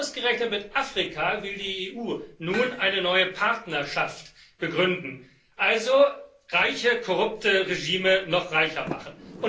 Aber ausgerechnet mit Afrika will die EU nun eine neue Partnerschaft begründen, also reiche, korrupte Regime noch reicher machen.